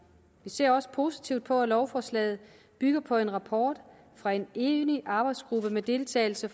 vi ser også positivt på at lovforslaget bygger på en rapport fra en enig arbejdsgruppe med deltagelse